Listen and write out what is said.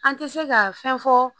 An tɛ se ka fɛn fɔ